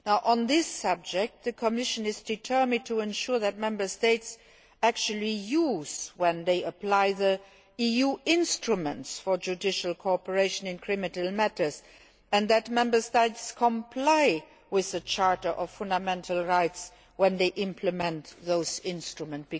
On this subject the Commission is determined to ensure that Member States actually do so when they apply the EU instruments for judicial cooperation in criminal matters and that Member States comply with the Charter of Fundamental Rights when they implement those instruments.